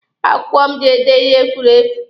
Akwụkwọ m ji ede ihe furu efu.